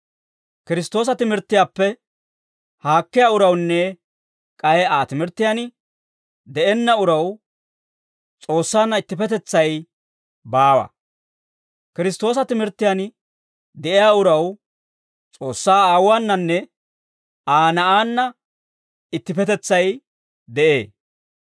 Kiristtoosa timirttiyaappe haakkiyaa urawunne k'ay Aa timirttiyaan de'enna uraw S'oossaanna ittippetetsay baawa. Kiristtoosa timirttiyaan de'iyaa uraw S'oossaa Aawuwaananne Aa Na'aanna ittippetetsay de'ee.